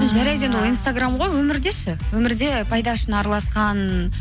жарайды енді ол инстаграм ғой өмірде ше өмірде пайдасы үшін араласқан